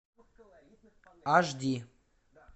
аш ди